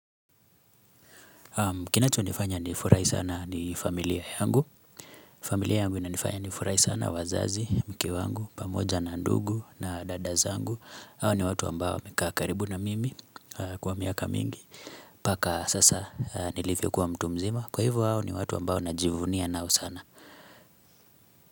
Kinacho nifanya ni furahi sana ni familia yangu familia yangu inanifanya ni furahi sana wazazi, mke wangu, pamoja na ndugu na dada zangu hao ni watu ambao wamekaa karibu na mimi kwa miaka mingi Paka sasa nilivyo kuwa mtu mzima kwa hivo hao ni watu ambao najivunia nao sana.